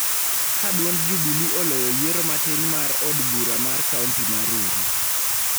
Ka duond Jubilee oloyo yiero matin mar od bura mar kaonti ma Rurii